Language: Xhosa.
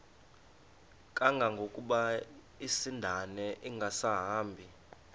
kangangokuba isindane ingasahambi